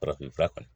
Farafinf fura